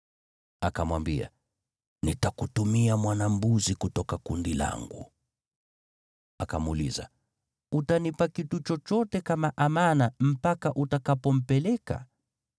Akamwambia, “Nitakutumia mwana-mbuzi kutoka kundi langu.” Akamuuliza, “Utanipa kitu chochote kama amana mpaka utakapompeleka?”